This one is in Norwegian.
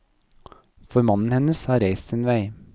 For mannen hennes har reist sin vei.